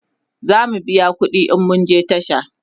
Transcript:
zamu biya ƙuɗi in mun je tasha